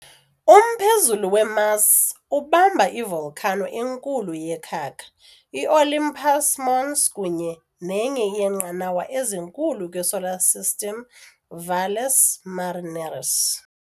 Umphezulu we-Mars ubamba i-volcano enkulu yekhaka, i-Olympus Mons, kunye nenye yeenqanawa ezinkulu kwi-Solar System, Valles Marineris.